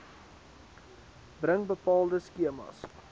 bring bepaalde skemas